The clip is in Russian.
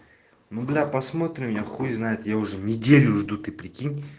ну бля посмотрим я хуй знает я уже неделю жду ты прикинь